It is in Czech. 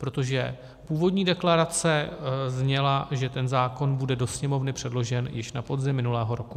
Protože původní deklarace zněla, že ten zákon bude do Sněmovny předložen již na podzim minulého roku.